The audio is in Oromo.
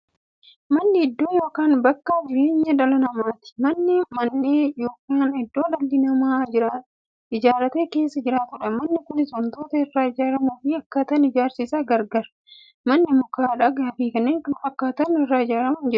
Manni iddoo yookiin bakka jireenya dhala namaati. Manni Mandhee yookiin godoo dhalli namaa ijaaratee keessa jiraatudha. Manni Kunis waantootni irraa ijaaramuufi akkaataan ijaarsa isaa gargar. Manni muka, dhagaafi kan kana fakkaatan irraa ijaarama.